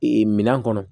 minan kɔnɔ